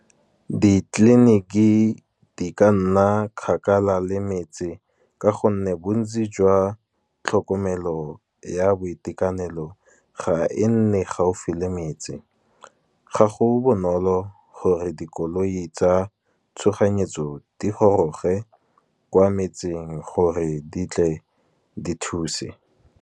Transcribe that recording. Ditleliniki di ka nna kgakala le metse, ka gonne bontsi jwa tlhokomelo ya boitekanelo ga e nne gaufi le metse. Ga go bonolo gore dikoloi tsa tshoganyetso, di goroge kwa metseng gore di tle di thuse.